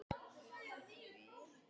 Helga: Hvað segir þú við því?